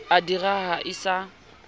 wa di raha e sa